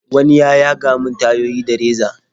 wani ya yaga min tayoyi da reza.